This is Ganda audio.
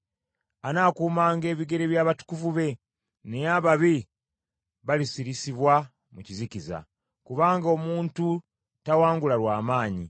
Anaakuumanga ebigere by’abatukuvu be, naye ababi balisirisibwa mu kizikiza; kubanga omuntu tawangula lw’amaanyi.